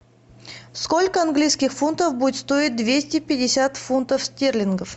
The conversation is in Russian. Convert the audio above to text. сколько английских фунтов будет стоить двести пятьдесят фунтов стерлингов